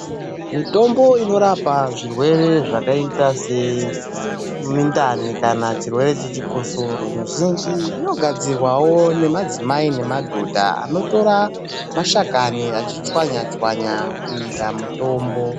Mitombo inorapa zvirwere zvakaita semundani kana chirwere chichikosoro mizhinji inogadzirwawo nemadzimai nemadhodha anotora mashakani achichwanya- chwanya kuita mitombo.